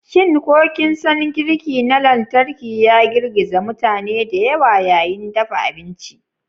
Shin ko kin san girki na lantarki ya girgiza mutane da yawa yayin dafa abinci?